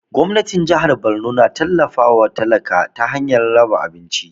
Gwamnatin jahar Borno na tallafa wa talakawa ta hanyar raba abinci